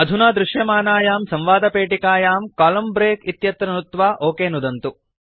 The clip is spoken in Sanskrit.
अधुना दृश्यमानायां संवादपेटिकायां कोलम्न ब्रेक इत्यत्र नुत्वा ओक नुदन्तु